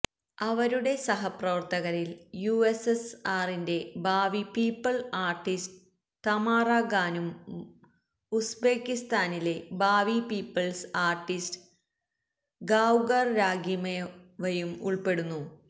അവരുടെ സഹപ്രവർത്തകരിൽ യുഎസ്എസ്ആറിന്റെ ഭാവി പീപ്പിൾസ് ആർട്ടിസ്റ്റ് തമാറാ ഖാനൂമും ഉസ്ബെക്കിസ്ഥാനിലെ ഭാവി പീപ്പിൾസ് ആർട്ടിസ്റ്റ് ഗാവ്ഖർ രാഖിമോവയും ഉൾപ്പെടുന്നു